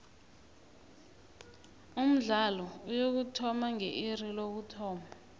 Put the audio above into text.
umdlalo uyokuthoma nge iri lokuthoma